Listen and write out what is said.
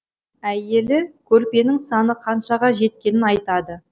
әйелі көрпенің саны қаншаға жеткенін айтады